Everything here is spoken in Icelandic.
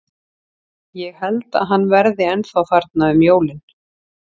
Ég held að hann verði ennþá þarna um jólin.